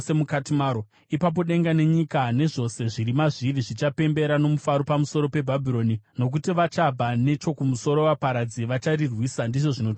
Ipapo denga nenyika nezvose zviri mazviri zvichapembera nomufaro pamusoro peBhabhironi, nokuti vachabva nechokumusoro vaparadzi vacharirwisa,” ndizvo zvinotaura Jehovha.